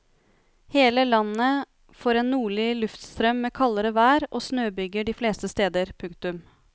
Hele landet får en nordlig luftstrøm med kaldere vær og snøbyger de fleste steder. punktum